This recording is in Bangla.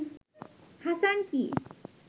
হাসান কী